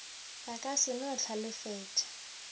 ba ka se no hlalefetša